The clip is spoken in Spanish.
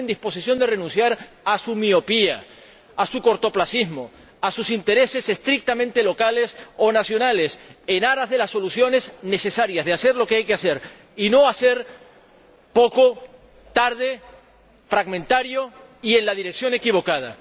¿Están en disposición de renunciar a su miopía, a su cortoplacismo, a sus intereses estrictamente locales o nacionales en aras de las soluciones necesarias, de hacer lo que hay que hacer y no hacer poco, tarde, fragmentariamente y en la dirección equivocada?